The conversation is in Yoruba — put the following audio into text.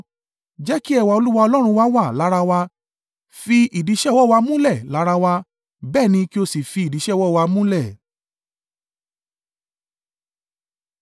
Jẹ́ kí ẹwà Olúwa Ọlọ́run wa wà lára wa; fi ìdí iṣẹ́ ọwọ́ wa múlẹ̀ lára wa, bẹ́ẹ̀ ni, kí ó sì fi ìdí iṣẹ́ ọwọ́ wa múlẹ̀.